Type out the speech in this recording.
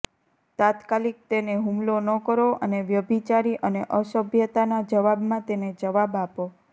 તાત્કાલિક તેને હુમલો ન કરો અને વ્યભિચારી અને અસભ્યતાના જવાબમાં તેને જવાબ આપો